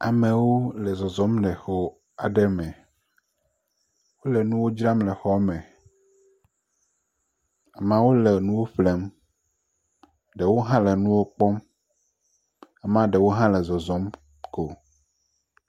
Amewo le zɔzɔm le xɔ aɖe me wole nuwo dram le xɔ aɖe me amewo le nuwo ƒlem, wole nuwo kpɔm, ame aɖewo le zɔzɔm ko.